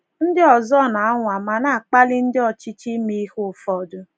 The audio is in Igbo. Ndị ọzọ na - anwa ma na-akpali ndị ọchịchị ime ihe ụfọdụ.